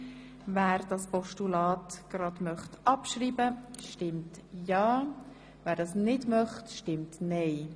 Wer das Postulat abschreiben will, stimmt ja, wer dies ablehnt, stimmt nein.